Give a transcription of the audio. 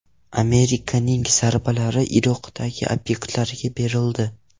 Amerikaning zarbalari Iroqdagi obyektlarga berildi.